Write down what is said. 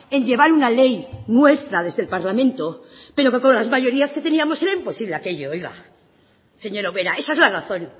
en llevar una ley nuestra desde el parlamento pero que con las mayorías que teníamos era imposible aquello oiga señora ubera esa es la razón